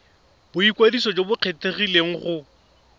boikwadiso jo bo kgethegileng go